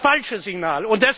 Das ist das falsche Signal!